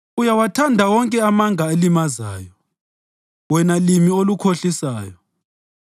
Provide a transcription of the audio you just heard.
Uyawathanda wonke amanga alimazayo, wena limi olukhohlisayo!